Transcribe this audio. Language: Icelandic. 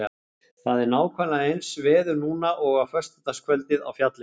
Það er nákvæmlega eins veður núna og á föstudagskvöldið á fjallinu.